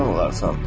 Olarasan.